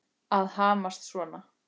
Að hamast svona.